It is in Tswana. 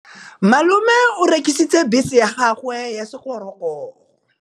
Malome o rekisitse bese ya gagwe ya sekgorokgoro.